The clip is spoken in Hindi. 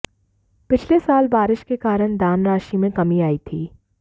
पिछले साल बारिश के कारण दान राशि में कमी आई थी